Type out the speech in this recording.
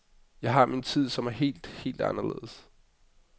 Jeg har min tid, som er helt, helt anderledes.